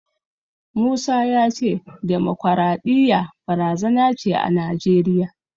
Musa ya ce demokwaraɗiyya barazana ce a Najeriya.